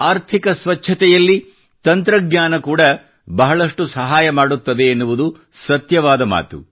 ಆರ್ಥಿಕ ಸ್ವಚ್ಛತೆಯಲ್ಲಿ ತಂತ್ರಜ್ಞಾನ ಬಹಳಷ್ಟು ಸಹಾಯ ಮಾಡುತ್ತದೆ ಎನ್ನುವುದು ಸತ್ಯವಾದ ಮಾತು